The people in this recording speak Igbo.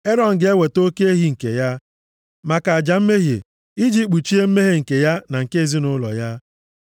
“Erọn ga-eweta oke ehi nke ya, maka aja mmehie iji kpuchie mmehie nke ya na nke ezinaụlọ ya.